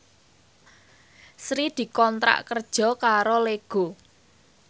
Sri dikontrak kerja karo Lego